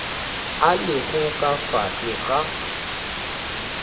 a lego ka fase ga